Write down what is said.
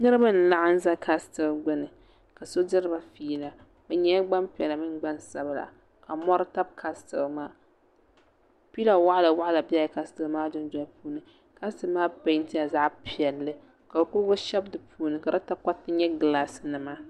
niriba n laɣim za kasitɛli gbani la so diriba yɛla be nyɛla gba piɛlla ni gba sabila ka mori tabi kasitɛli maa pila waɣila bɛla kasitɛli maa dundolini kasitɛli maa pɛntɛla zaɣ' piɛli ka kurigu shɛbi di puuni ka di takoritɛ nyɛ gilasi nima